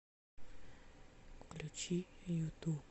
включи юту